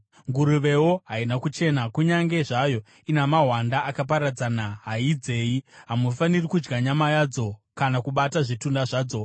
Nguruvewo haina kuchena; kunyange zvayo ina mahwanda akaparadzana, haidzeyi. Hamufaniri kudya nyama yadzo kana kubata zvitunha zvadzo.